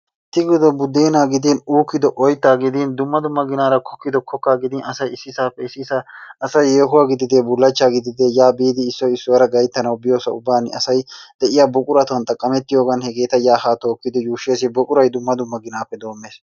Tegido budeenaa gidin, uukido oyttaa gidin, dumma dumma ginaara kokkiddo kokkaa gidin asay issisappe issisaa asay yehuwa gidide bullachcha gidide ya biidi issoy issuwaara gayttanawu biyoosa ubban asay de'iyaa buquratun xaqamettiyoogan hegetaa yaa haa tookidi yuushshees. Buquray dumma dumma ginappe doommees.